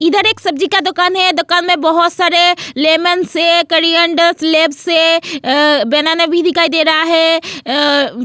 इधर एक सब्जी का दुकान है दुकान में बहुत सारे अ लेमोन्स कोर्रिएन्डर स्लेबस है अ बनाना भी दिखाई दे रहा है अ --